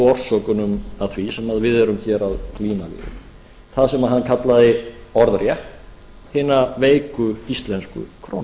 orsökunum að því sem við erum hér að glíma við það sem hann kallaði orðrétt hina veiku íslensku krónu